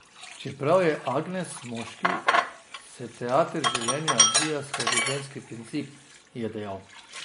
Čeprav je agens moški, se teater življenja odvija skozi ženski princip, je dejal.